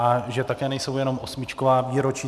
A že také nejsou jenom osmičková výročí.